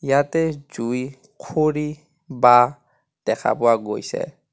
ইয়াতে জুই খৰি বাঁহ দেখা পোৱা গৈছে.